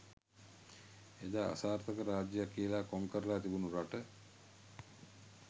එදා අසාර්ථක රාජ්‍යයක් කියලා කොංකරලා තිබුණු රට